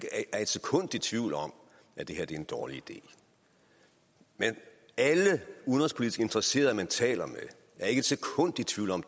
er et sekund i tvivl om at det her er en dårlig idé alle udenrigspolitiske interesserede man taler med er ikke et sekund i tvivl om